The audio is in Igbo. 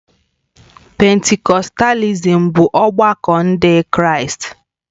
Pentikọstalism bụ ọgbakọ Ndị Kraịst.